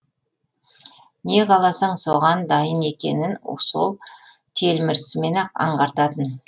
не қаласаң соған дайын екенін сол телмірісімен ақ аңғартатын